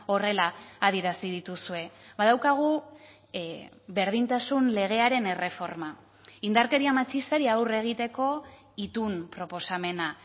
horrela adierazi dituzue badaukagu berdintasun legearen erreforma indarkeria matxistari aurre egiteko itun proposamena